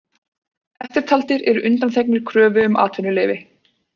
Eftirtaldir eru undanþegnir kröfu um atvinnuleyfi: